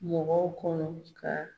Mɔgɔw kɔnɔ ka